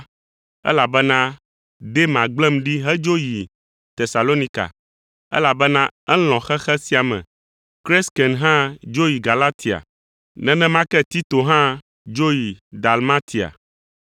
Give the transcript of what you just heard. elabena Dema gblẽm ɖi hedzo yi Tesalonika, elabena elɔ̃ xexe sia me. Kresken hã dzo yi Galatia. Nenema ke Tito hã dzo yi Dalmatia.